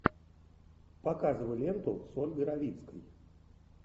показывай ленту с ольгой равицкой